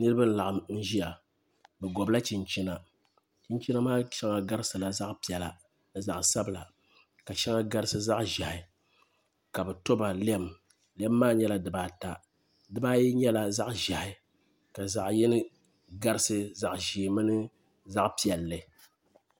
Niraba n laɣam n ʒiya bi gobla chinchina chinchina maa shɛŋa garisila zaɣ piɛla ni zaɣ sabila ka shɛŋa garisi zaɣ ʒiɛhi ka bi toba lɛm lɛm maa nyɛla dibaata di baayi nyɛla zaɣ ʒiɛhi ka zaɣ yini garisi zaɣ ʒiɛ mini zaɣ piɛlli